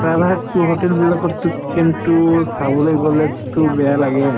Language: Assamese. hotel বুলিলে kitchen তো চাবলৈ গলে to বেয়া লাগেই